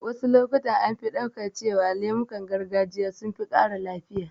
Wasu lokutan an fi ɗauka cewa lemukan gargajiya sun fi ƙara lafiya